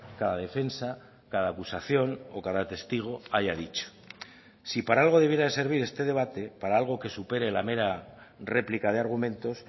cada defensa cada acusación o cada testigo haya dicho si para algo debiera de servir este debate para algo que supere la mera réplica de argumentos